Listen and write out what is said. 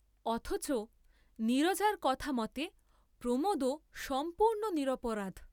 অথচ নীরজার কথা মতে প্রমোদও সম্পূর্ণ নিরপরাধ।